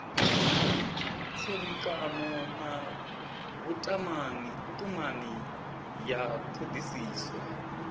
tserekano na vhutumani ya thodisiso